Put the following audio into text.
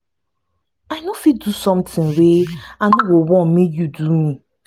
i no fit do you sometin wey i no go wan make you do me.